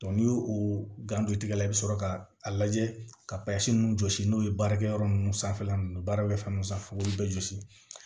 n'i y'o o gando tigɛ i bi sɔrɔ ka a lajɛ ka ninnu jɔsi n'o ye baarakɛ yɔrɔ ninnu sanfɛla ninnu baara bɛ fɛn minnu sanfɛ fo k'olu bɛɛ jɔsi